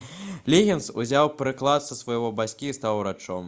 лігінс узяў прыклад са свайго бацькі і стаў урачом